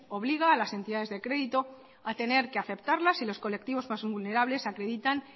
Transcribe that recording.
obliga a las entidades de crédito a tener que aceptarlas y los colectivos más vulnerables acreditan